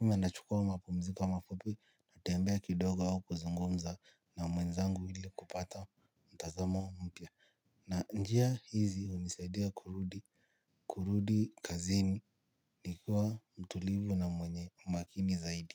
Ama nachukua mapumziko mafupi, natembea kidogo au kuzungumza na mwenzangu ili kupata mtazamo mpya. Na njia hizi hunisaidia kurudi, kurudi kazini nikiwa mtulivu na mwenye umakini zaidi.